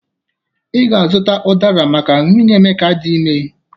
Ị ga-azụta ụdara maka nwunye Emeka dị ime